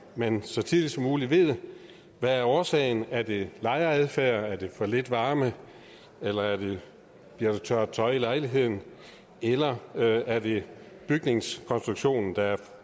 man så tidligt som muligt ved hvad årsagen er er det lejeradfærd er det for lidt varme bliver der tørret tøj i lejligheden eller er det bygningskonstruktionen der er